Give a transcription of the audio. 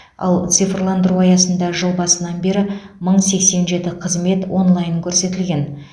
ал цифрландыру аясында жыл басынан бері мың сексен жеті қызмет онлайн көрсетілген